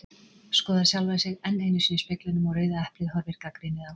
Skoðar sjálfa sig enn einu sinni í speglinum og Rauða eplið horfir gagnrýnið á.